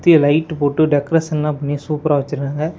தி light போட்டு டெக்கரேஷன்லா பண்ணி சூப்பரா வச்சிருக்காங்க.